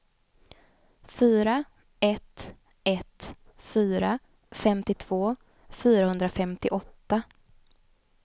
fyra ett ett fyra femtiotvå fyrahundrafemtioåtta